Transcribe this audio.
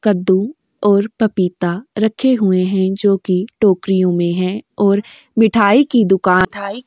कद्दू और पपीता रखे हुए हैं जो कि टोकरियों में हैं और मिठाई की दुकान --